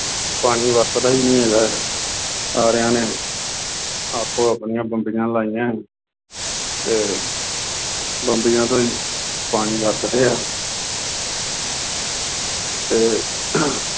ਪਾਣੀ ਵਰਤਦਾ ਹੀ ਨਹੀਂ ਹੈਗਾ, ਸਾਰਿਆਂ ਨੇ ਆਪੋ ਅਪਣੀਆਂ ਬੰਬੀਆਂ ਲਾਈਆਂ ਅਤੇ ਬੰਬੀਆਂ ਤੋਂ ਹੀ ਪਾਣੀ ਵਰਤਦੇ ਹ। ਅਤੇ